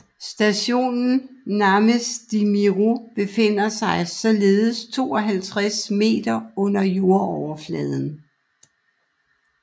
Stationen Náměstí Míru befinder sig således 52 m under jordoverfladen